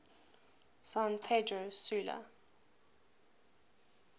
san pedro sula